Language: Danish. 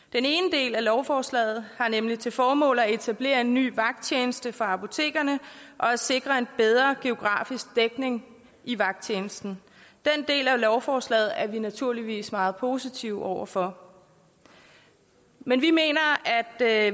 del af lovforslaget har nemlig til formål at etablere en ny vagttjeneste for apotekerne og at sikre en bedre geografisk dækning i vagttjenesten den del af lovforslaget er vi naturligvis meget positive over for men vi mener at